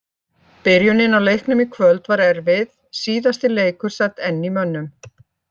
Byrjunin á leiknum í kvöld var erfið, síðasti leikur sat enn í mönnum.